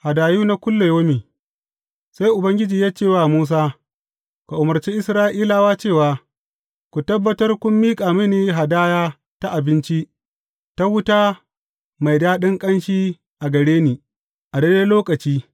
Hadayu na kullayaumi Sai Ubangiji ya ce wa Musa, Ka umarci Isra’ilawa cewa, Ku tabbatar kun miƙa mini hadaya ta abinci ta wuta mai daɗin ƙanshi a gare ni, a daidai lokaci.’